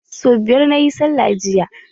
So biyar na yi sallah jiya.